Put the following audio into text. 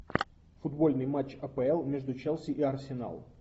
футбольный матч апл между челси и арсенал